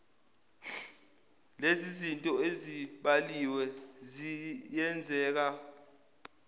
lenzizinto ezibaliwe ziyenzeka